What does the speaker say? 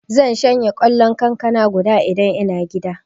Zan shanye kwallon kankana guda Idan ina gida.